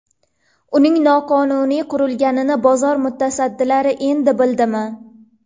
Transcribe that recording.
Uning noqonuniy qurilganini bozor mutasaddilari endi bildimi?